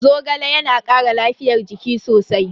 Zogale yana kara lafiyar jiki sosai.